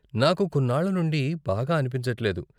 నాకు కొన్నాళ్ళ నుండి బాగా అనిపించట్లేదు.